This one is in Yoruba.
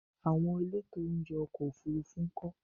Àwọn elétò oúnjẹ ọkọ̀ Òfurufú ńkọ́?